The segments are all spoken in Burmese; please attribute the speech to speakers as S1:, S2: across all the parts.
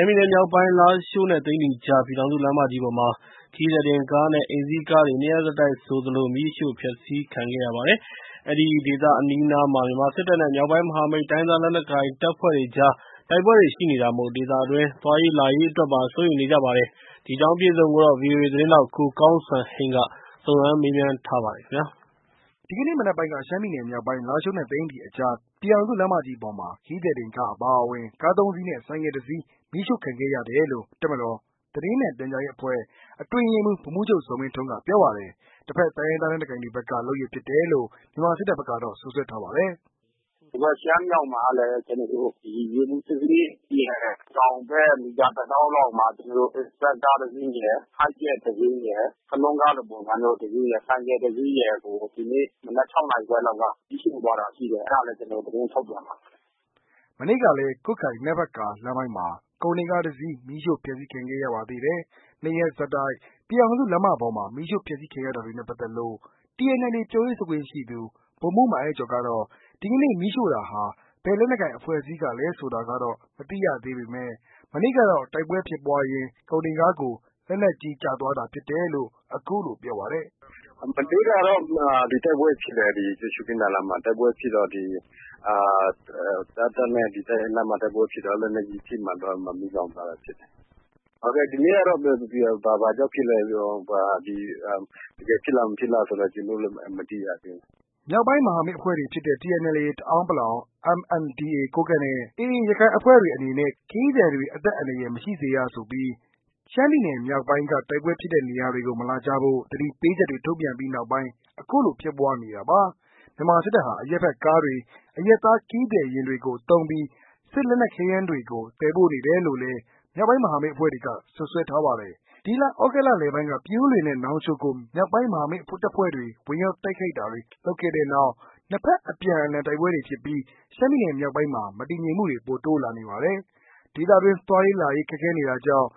S1: မ်းပြည်နယ်မြောက်ပိုင်း လာရှိုးနဲ့ သိန္နီအကြား ပြည်ထောင်စုလမ်းမကြီးပေါ်မှာ ခရီးသည်တင် ကားနဲ့ အိမ်စီးကားတွေ နှစ်ရက်ဆက်တိုက်ဆိုသလို မီးရှို့ဖျက်စီးခံနေရပါတယ်။ အဲဒီ ဒေသအနီးအနားမှာ မြန်မာစစ်တပ်နဲ့ မြောက်ပိုင်းမဟာမိတ် တိုင်းရင်းသားလက်နက်ကိုင်တပ်ဖွဲ့တွေအကြား တိုက်ပွဲတွေရှိနေတာမို့၊ ဒေသတွင်း သွားလာရေးအတွက်ပါ စိုးရိမ်နေကြရပါတယ်။ ဗွီအိုအေ သတင်းထောက် ကိုကောင်းစံ စုံစမ်းမေးမြန်းထားပါတယ်။
S2: ဒီကနေ့ မနက်ပိုင်းက ရှမ်းပြည်နယ်မြောက်ပိုင်း လာရှိုးနဲ့ သိန္နီအကြား ပြည်ထောင်စုလမ်းမကြီးပေါ်မှာ ခရီးသည်တင်ကား အပါအဝင် ကား၃စီးနဲ့ ဆိုင်ကယ်၁စီး မီးရှို့ခံရတယ်လို့ တပ်မတော် သတင်းမှန်ပြန်ကြားရေးအဖွဲ့ အတွင်းရေးမှူး ဗိုလ်မှူးချုပ်ဇော်မင်းထွန်းက ပြောပါတယ်။ တဖက် တိုင်းရင်းသားလက်နက်ကိုင်တွေဖက်က လုပ်ရပ်ဖြစ်တယ်လို့ မြန်မာစစ်တပ်ဖက်ကတော့ စွပ်စွဲထားပါတယ်။
S3: “ရှမ်းမြောက်မှာကလည်း ရေပူစစ်ဆေးရေးရဲ့တောင်ဘက် မီတာ တစ်သောင်းလောက်မှာ Express ကားတစ်စီးရယ်၊ Hi Jet တစ်စီးရယ်၊ Saloon ကားလို တစ်စီးရယ် ၊ ဆိုင်ကယ်တစ်စီးရယ်ကို မီးရှို့သွားတာရှိတယ် မနက်၆နာရီခွဲလောက်က၊ကျနာ်တို့ သတင်းထုတ်ပြန်မှာပါ
S2: ။” မနေ့ကလည်း ကွတ်ခိုင်-နမ့်ဖတ်ကာ လမ်းပိုင်းမှာ ကုန်တင်ကား တစ်စီး မီးရှို့ဖျက်စီးခံ ခဲ့ရပါသေးတယ်။၂ရက်ဆက်တိုက် ပြည်ထောင်စု လမ်းမပေါ်မှာ မီးရှီု့ဖျက်စီးခံရတာတွေနဲ့ ပက်သက်ပြီး TNLA ပြောရေးဆိုခွင့်ရှိသူ ဗိုလ်မှူးမိုင်း အိုက်ကျော် ကတော့ ဒီကနေ့ မီးရှို့တာဟာ ဘယ်လက်နက်ကိုင် အဖွဲ့အစည်းကလဲဆိုတာတော့ မသိရသေးဘမဲ့ မနေ့ကတော့ တိုက်ပွားဖြစ်ရင်း ကုန်တင်ကားကို လက်နက်ကြီးကျသွားတာဖြစ်တယ်လို့ အခုလို ပြောပါတယ်
S3: ။ “မနေ့ကတော့ ရှု့ခင်းသာလမ်းမှာတိုက်ပွဲဖြစ်တယ်။ အဲဒီတိုက်ပွဲအတွင်း လက်နက်ကြီးထိမှန်လို့ မီးလောင်သွားတာ ဖြစ်တယ်။ ဒီနေ့ကတော့ တကယ်ဖြစ်လားမဖြစ်လားဆိုတာ ကျနော်တို့လည်း မသိရသေးဘူး။”
S2: မြောက်ပိုင်းမဟာမိတ်အဖွဲ့တွေဖြစ်တဲ့TNLA တအန်း ၊ MNDAA ကိုးကန့်နဲ့ AA ရခိုင်အဖွဲ့တွေ အနေနဲ့ ခရီးသည်တွေ အသက်အန္တာရယ် မရှိစေရေးဆိုပြီး ရှမ်းပြည်နယ်မြောက်ပိုင်းက တိုက်ပွဲဖြစ်တဲ့ နေရာတွေကို မလာကြဖို့ သတိပေးချက်တွေ ထုတ်ပြန်ပီး အခုလိုတွေ ဖြစ်ပွားနေတာပါ။ မြန်မာစစ်တပ်ဟာ အရပ်ဖက် ကားတွေ၊ အရပ်သား ခရီးသည်တင်ယာဉ်တွေကိုသုံးပြီး စစ်လက်နက်ခဲယမ်းတွေကို သယ်ပို့ နေတယ်လို့လည်း မြောက်ပိုင်းမဟာမိတ်အဖွဲ့တွေက စွပ်စွဲထားပါတယ်။ ဒီလ သြဂုတ်လလယ်ပိုင်း ပြင်ဦးလွင်နဲ့ နောင်ချိုကို မြောက်ပိုင်းမဟာမိတ်တပ်ဖွဲ့တွေ ဝင်ရောက်တိုက်ခိုက်တာတွေလုပ်ခဲ့တဲ့နောက်၊ နှစ်ဖက် အပြန်အလှန်တိုက်ပွဲတွေဖြစ်ပြီး ရှမ်းပြည်မြောက်ပိုင်းမှာ မတည်မငြိမ်မှုတွေ ပိုတိုးလာနေပါတယ်။ ဒေသတွင်း သွားရေးလာရေး ခက်ခဲနေတာကြောင့်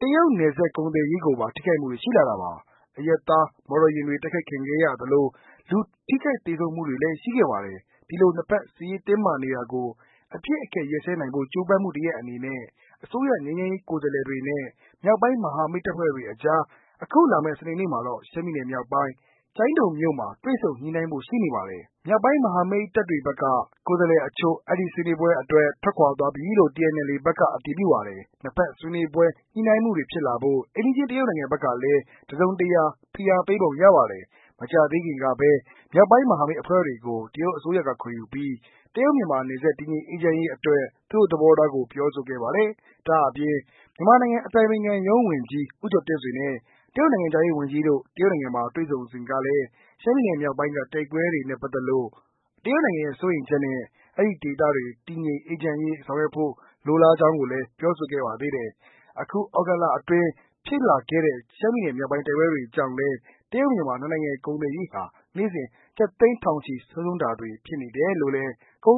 S2: တရုတ်-နယ်စပ် ကုန်သွယ်ရေးကိုပါ ထိခိုက်မှုတွေရှိလာပါတယ်။ အရပ်သားမော်တော်ယာဉ်တွေ တိုက်ခိုက်ခဲ့ရသလို၊ လူထိခိုက်သေဆုံးမှုတွေလည်း ရှိခဲ့ပါတယ်။ ဒီလို နှစ်ဖက် စစ်ရေးတင်းမာနေတာကို အပစ်အခတ်ရပ်စဲနိုင်ဖို့ ကြိုးပမ်းမှုတရပ်အနေနဲ့ အစိုးရငြိမ်းချမ်းရေးကိုယ်စားလှယ်တွေနဲ့ မြောက်ပိုင်းမဟာမိတ်တပ်ဖွဲ့တွေအကြား အခုလာမယ့် စနေမှာတော့ ရှမ်းပြည်မြောက်ပိုင်း ကျိုင်းတုံမြို့မှာ တွေ့ဆုံညှိုနှိုင်းဖို့ရှိနေပါတယ်။ မြောက်ပိုင်းမဟာမိတ်တပ်တွေဖက်က ကိုယ်စားလှယ်အချို့ အဲဒီ ဆွေးနွေးပွဲအတွက် ထွက်ခွာသွားပြီလို့ TNLA ဖက်က အတည်ပြုပါတယ်။ နှစ်ဖက် ဆွေးနွေးညှိုနှိုင်းမှုတွေဖြစ်လာဖို့ အိမ်နီးချင်းတရုတ်နိုင်ငံဖက်ကလည်း တစုံတရာ ဖိအားပေးပုံရပါတယ်။ မကြာသေးခင်ကပဲ မြောက်ပိုင်းမဟာမိတ်အဖွဲ့တွေကို တရုတ်အစိုးရက ခေါ်ယူပြီး တရုတ်- မြန်မာနယ်စပ် တည်ငြိမ်အေးချမ်းရေးအတွက် သူတို့သဘောထားကို ပြောဆိုခဲ့ပါတယ်။ ဒါ့အပြင် မြန်မာအတိုင်ပင်ခံရုံးဝန်ကြီး ဦးကျော်တင်ဆွေနဲ့ တရုတ်နိုင်ငံခြားရေးဝန်ကြီးတို့ တရုတ်နိုင်ငံမှာ တွေ့ဆုံစဉ်တုန်းကလည်း ရှမ်းပြည်မြောက်ပိုင်းက တိုက်ပွဲတွေနဲ့ပတ်သက်လို့ တရုတ်နိုင်ငံရဲ့စိုးရိမ်ချက်နဲ့၊ အဲဒီဒေသ တည်ငြိမ်အေးချမ်းရေးဆောင်ရွက်ဖို့ လိုလားချက်တွေကိုလည်း ပြောဆိုခဲ့ပါတယ်။ အခု သြဂုတ်လအတွင်း ဖြစ်လာတဲ့ ရှမ်းပြည်မြောက်ပိုင်း တိုက်ပွဲတွေကြောင့်လည်း တရုတ်- မြန်မာ နှစ်နိုင်ငံ ကုန်သွယ်ရေးဟာ နေ့စဉ် ကျပ် သန်းထောင်ချီ ဆုံးရှုံးတာတွေဖြစ်နေတယ်လို့လည်း ကုန်